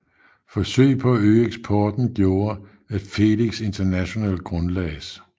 Forsøg på at øge eksporten gjorde at Felix International grundlagdes